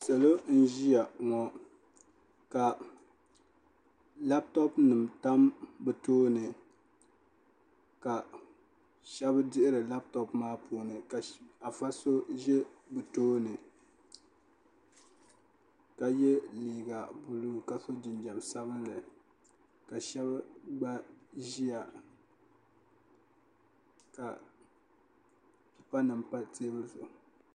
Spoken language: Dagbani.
salo n ʒiya ŋɔ ka labtop nim tam bi tooni ka shab dihiri labtop maa puuni ka afa shab ʒɛ tooni ka yɛ liiga buluu ka so jinjɛm sabinli ka shab gba ʒiya ka pa pipa nim pa teebuli zuɣu